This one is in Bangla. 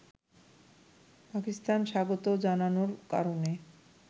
পাকিস্তান স্বাগত জানানোর কারণে